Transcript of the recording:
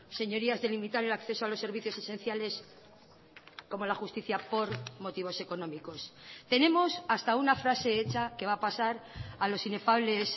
señorías de limitar el acceso a los servicios esenciales como la justicia por motivos económicos tenemos hasta una frase hecha que va a pasar a los inefables